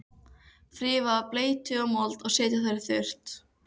Þrífa af bleytu og mold og setja þær í þurrt.